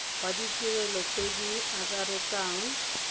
wa ditirelo tse di akaretsang